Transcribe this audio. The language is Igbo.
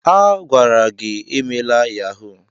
A gwara gi emela yahuu!